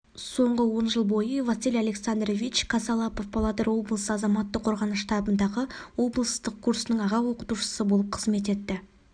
соңғы он жыл бойы василий александрович косолапов павлодар облысы азаматтық қорғаныс штабындағы облыстық курсының аға оқытушысы болып қызмет етті